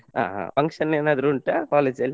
ಹಾ ಹಾ function ಎನಾದ್ರು ಉಂಟಾ college ಅಲ್ಲಿ.